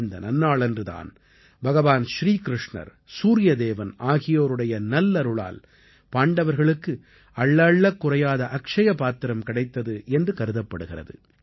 இந்த நன்னாளன்று தான் பகவான் ஸ்ரீ கிருஷ்ணர் சூரிய தேவன் ஆகியோருடைய நல்லருளால் பாண்டவர்களுக்கு அள்ள அள்ளக்குறையாத அக்ஷ்ய பாத்திரம் கிடைத்தது என்று கருதப்படுகிறது